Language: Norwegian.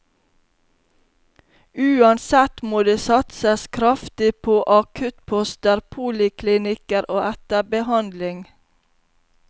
Uansett må det satses kraftig på akuttposter, poliklinikker og etterbehandling.